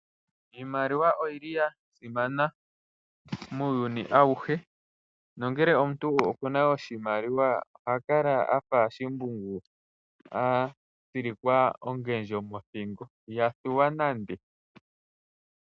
Iimaliwa oyili oya simana muuyuni auhe, nongele omuntu okuna oshimaliwa oha kala afa shimbungu a tsilikwa ongendjo mothingo iha thuwa nande.